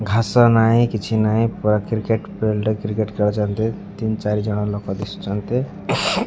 ଘାସ ନାଇ କିଛି ନାଇ ପାୟା କ୍ରିକେଟ୍ ଫିଲ୍ଡ ରେ କ୍ରିକେଟ ଖେଳୁଛନ୍ତି ତିନି ଚାରି ଜଣ ଲୋକ ଦିସୁଚନ୍ତି।